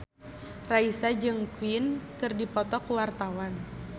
Raisa jeung Queen keur dipoto ku wartawan